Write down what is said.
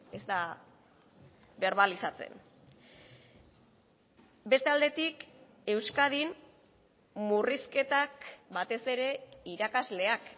ez da berbalizatzen beste aldetik euskadin murrizketak batez ere irakasleak